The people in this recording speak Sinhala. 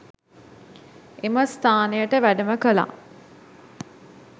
එම ස්ථානයට වැඩම කළා.